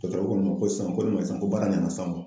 ko ne ma ko san ko baara ɲana sisan